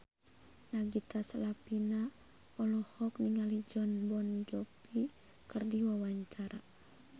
Nagita Slavina olohok ningali Jon Bon Jovi keur diwawancara